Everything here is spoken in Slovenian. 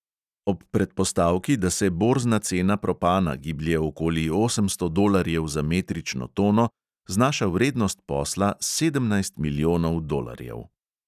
Ob predpostavki, da se borzna cena propana giblje okoli osemsto dolarjev za metrično tono, znaša vrednost posla sedemnajst milijonov dolarjev.